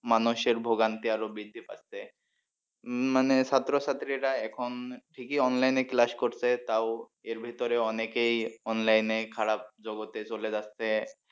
মানুষের ভোগান্তি আরো বৃদ্ধি পাচ্ছে উম মানে ছাত্র ছাত্রীরা এখন ঠিকই online এ class করছে তাও এর ভিতরে অনেকেই online এ খারাপ জগতে চলে যাচ্ছে